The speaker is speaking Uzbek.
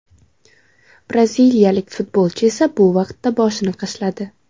Braziliyalik futbolchi esa bu vaqtda boshini qashladi.